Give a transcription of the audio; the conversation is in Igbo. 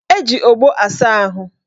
Eji ogbo asa ahụ